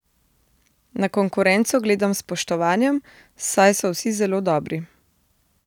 Na konkurenco gledam s spoštovanjem, saj so vsi zelo dobri.